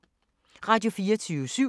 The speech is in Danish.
Radio24syv